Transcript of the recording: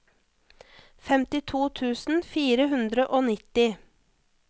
femtito tusen fire hundre og nitti